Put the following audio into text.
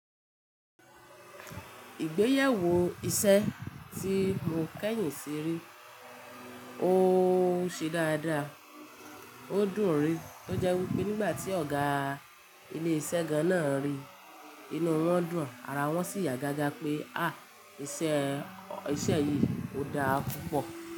Ìgbéyàwó iṣẹ́ tí mo kẹ́yìn ṣe rí, ó ṣe dáadáa, ó dùn-ún rí. Ó jẹ́ wípé nígbà tí ọ̀gá ilé iṣẹ́ gan-an náà rí i, inú wọn dùn, ara wọn sì yá gágá pé, ah! Iṣẹ́, iṣẹ́ yìí ò dáa púpọ̀